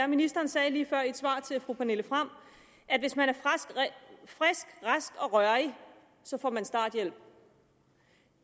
er ministeren sagde lige før i et svar til fru pernille frahm at hvis man er frisk rask og rørig så får man starthjælp